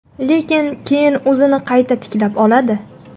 Lekin keyin o‘zini qayta tiklab oladi.